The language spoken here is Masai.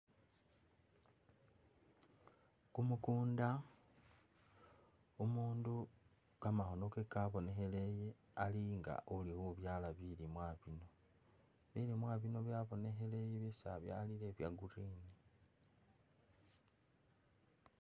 Kumukunda, umundu kamakhono ke kabonekheleye ali nga uli khubyaala bilimwa bino. Bilimwa bino byabonekheleye byesi abyalile bya green.